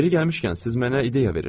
Yeri gəlmişkən, siz mənə ideya verirsiz.